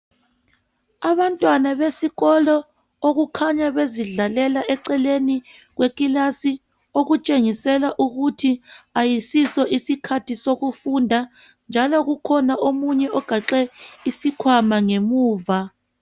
Abantwana besikolo okukhanya bezidlalela eceleni kwekilasi okutshengisela ukuthi ayisiso isikhathi sokufunda njalo kukhona omunye ogaxe isikhwama ngemuva